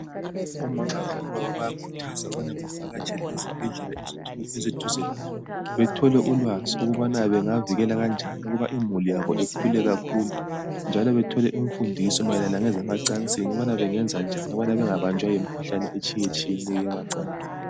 Omama labobaba bayakhuthazwa ukubana bavatshele ezibhendlela eziseduze labo. Bathole ulwazi ukubani bangavikela kanjani ukuba imuli ikhule kakhulu njalo bathole imfundiso mayelana lezemacansini ukubana bengenza njani ukuba bengabanjwa yimikhuhlane etshiyetshiyeneyo yemacansini.